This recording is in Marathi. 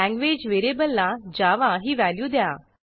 लँग्वेज व्हेरिएबलला जावा ही व्हॅल्यू द्या